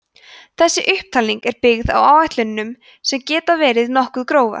þessi upptalning er byggð á áætlunum sem geta verið nokkuð grófar